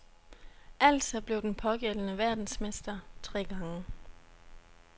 Altså blev den pågældende verdensmester tre gange.